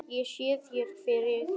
Ég sé þig fyrir mér.